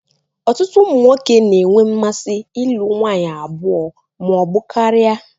ọtụtụ ụmụ nwoke na enwe mmasi ilụ nwanyi abụọ ma ọ bu karia